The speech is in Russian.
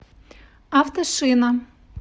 автошина